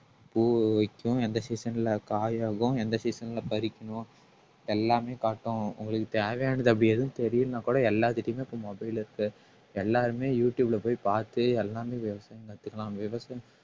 பூ வைக்கும் எந்த season ல காயாகும் எந்த season ல பறிக்கணும் எல்லாமே காட்டும் உங்களுக்கு தேவையானது அப்படி எதுவும் தெரியலைன்னா கூட எல்லாத்துகிட்டயுமே இப்ப mobile இருக்கு எல்லாருமே யூடுயூப்ல போய் பார்த்து எல்லாமே விவசாயம் கத்துக்கலாம் விவசா~